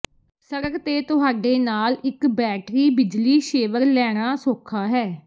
ਸੜਕ ਤੇ ਤੁਹਾਡੇ ਨਾਲ ਇੱਕ ਬੈਟਰੀ ਬਿਜਲੀ ਸ਼ੇਵਰ ਲੈਣਾ ਸੌਖਾ ਹੈ